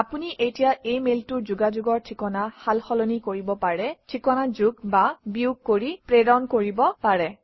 আপুনি এতিয়া এই মেইলটোৰ যোগাযোগৰ ঠিকনা সালসলনি কৰিব পাৰে ঠিকনা যোগ বা বিয়োগ কৰি প্ৰেৰণ কৰিব পাৰে